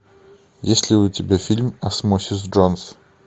есть ли у тебя фильм осмосис джонс